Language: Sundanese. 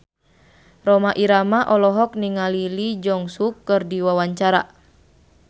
Rhoma Irama olohok ningali Lee Jeong Suk keur diwawancara